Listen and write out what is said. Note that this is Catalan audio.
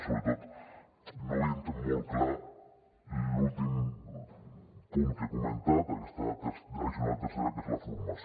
i sobretot no veiem molt clar l’últim punt que he comentat aquesta addicional tercera que és la formació